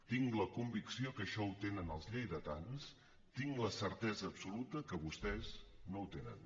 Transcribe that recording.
tinc la convicció que això ho tenen els lleidatans tinc la certesa absoluta que vostès no ho tenen